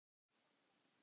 Gamla húsið.